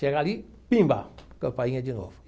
Chega ali, pimba, campainha de novo.